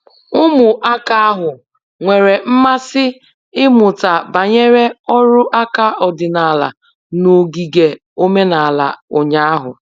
Ụmụaka ahụ nwere mmasị ịmụta banyere ọrụ aka ọdịnala n'ogige omenala ụnyahụ.